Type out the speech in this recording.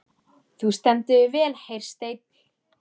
Þú stendur þig vel, Hersteinn!